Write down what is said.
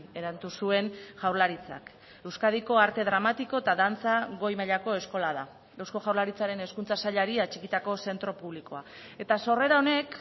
eratu zuen jaurlaritzak euskadiko arte dramatiko eta dantza goi mailako eskola da eusko jaurlaritzaren hezkuntza sailari atxikitako zentro publikoa eta sorrera honek